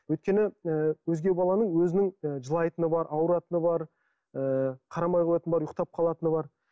өйткені ы өзге баланың өзінің і жылайтыны бар ауыратыны бар ыыы қарамай қоятыны бар ұйықтап қалатыны бар